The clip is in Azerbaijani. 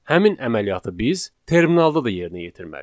Həmin əməliyyatı biz terminalda da yerinə yetirməliyik.